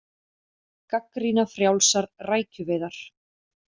Gagnrýna frjálsar rækjuveiðar